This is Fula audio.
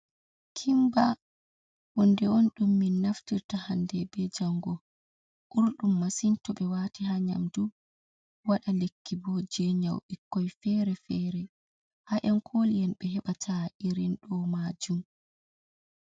Kimba honɗe on ɗum min naftirta hande be jango, urɗum masin to ɓe wati ha nyamdu wada lekki bo je nyau ɓokkoi fere fere, ha yan koli'en ɓe hebata irin ɗo majum.